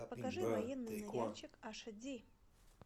покажи военный ныряльщик аш ди